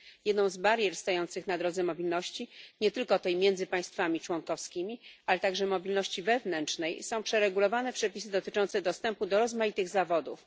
Jedną z barier stojących na drodze mobilności, nie tylko tej między państwami członkowskimi, ale także mobilności wewnętrznej są przeregulowane przepisy dotyczące dostępu do rozmaitych zawodów.